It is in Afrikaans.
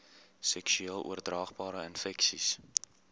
seksueel oordraagbare infeksies